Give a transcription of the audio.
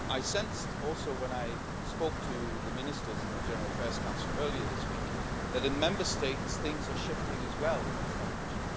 I sensed also, when I spoke to the ministers in the General Affairs Council earlier this week, that in the Member States things are shifting as well in this direction.